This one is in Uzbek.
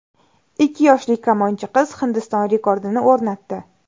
Ikki yoshli kamonchi qiz Hindiston rekordini o‘rnatdi.